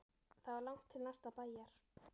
Það var langt til næsta bæjar.